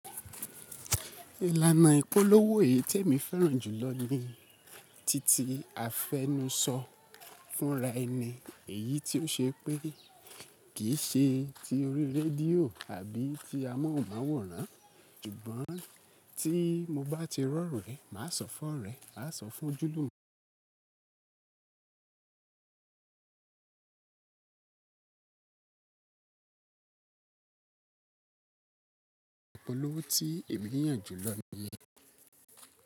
Ìlànà ìpolówó yí tí èmi fẹ́ràn jùlọ ni titi àfẹnùsọ fúnraẹni. Èyí tí ó ṣe pé kì í ṣe ti orí rédíò àbí ti amóhùnmáwòrán, súgbọ́n tí mo bá ti rọ̀ orẹ̀, màá sọ fún ọ̀rẹ́, màá sọ fún ojúlùmọ̀. Ìpolówó tí èmi yàn jùlọ ni ye.